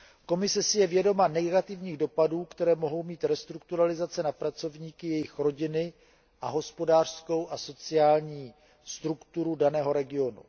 Komise si je vědoma negativních dopadů, které mohou mít restrukturalizace na pracovníky, jejich rodiny a hospodářskou a sociální strukturu daného regionu.